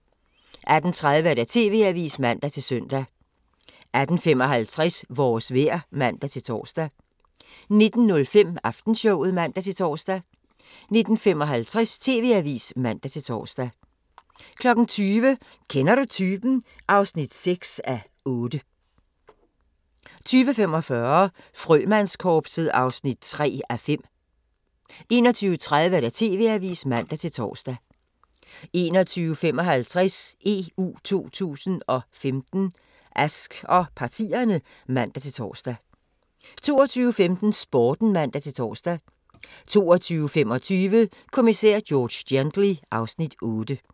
18:30: TV-avisen (man-søn) 18:55: Vores vejr (man-tor) 19:05: Aftenshowet (man-tor) 19:55: TV-avisen (man-tor) 20:00: Kender du typen? (6:8) 20:45: Frømandskorpset (3:5) 21:30: TV-avisen (man-tor) 21:55: EU 2015: Ask og partierne (man-tor) 22:15: Sporten (man-tor) 22:25: Kommissær George Gently (Afs. 8)